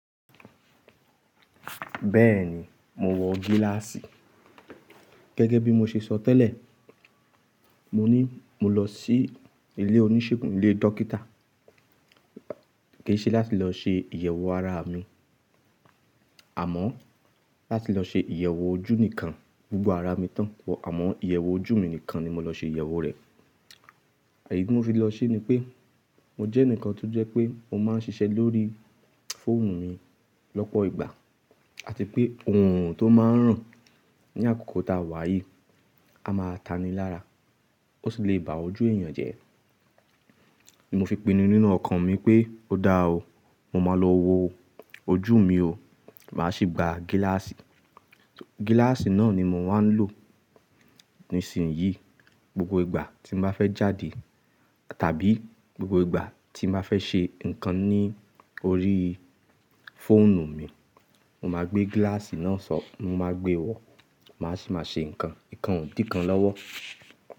Bẹ́ẹ̀ni, mo wọ gíláàsì. Gẹ́gẹ́ bí mo ṣe sọ tẹ́lẹ̀, Mọ ní mọ lọ sí ilé oníṣègùn, ilé dókítà, kìí ṣe láti lọ ṣe ìyẹ̀wò ará mi, àmọ́ láti lọ ṣe ìyẹ̀wò ojú nìkan. Gbogbo ara mi tán, àmọ́ ìyẹ̀wò ojú mi nìkan ni mo lọ ṣe ìyẹ̀wò rẹ̀. Ìdí tí mo fi lọ ṣe ni pé mo jẹ́ ẹnìkan tó jẹ́ pé mo máa ń ṣiṣẹ́ lórí fóònù mi lọ́pọ̀ ìgbà àti pé oòrùn tó máa ń ràn ní àkókò táa wá yìí, a máa taní lára, ó sì le bá ojú èèyàn jẹ́. Ni mo fi pinu nínú ọkàn mi pé ó da o, mo máa lọ wo ojú mi o, màá ṣì gba gíláàsì. Gíláàsì náà ni mo wá ń lò nísinsìnyí, gbogbo ìgbà tí mo bá fẹ́ jáde tàbí gbogbo ìgbà tí bá fẹ́ ṣe ǹkan ní orí fóònù mi, mo máa gbé gíláàsì náà sọ, mo máa gbé wọ, màá sì máa ṣe ǹkan, ǹkan ò dí kàn lọ́wọ́.